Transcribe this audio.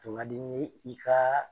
Tun ŋadi n ye i kaa